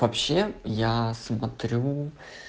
вообще я смотрю